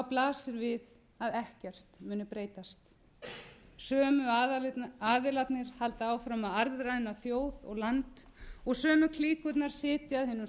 blasir við að ekkert muni breytast sömu aðilarnir halda áfram að arðræna þjóð og land og sömu klíkurnar sitja að hinum